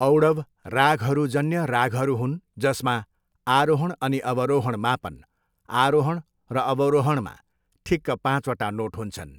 औडव रागहरू जन्य रागहरू हुन् जसमा आरोहण अनि अवरोहण मापन, आरोहण र अवरोहण, मा ठिक्क पाँचवटा नोट हुन्छन्।